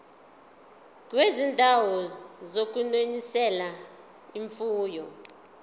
kwizindawo zokunonisela imfuyo